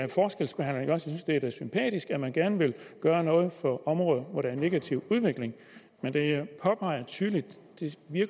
er sympatisk at man gerne vil gøre noget for områder hvor der er en negativ udvikling men det jeg påpeger tydeligt